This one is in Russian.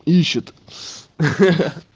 ищет